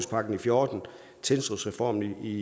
fjorten og tilsynsreformen i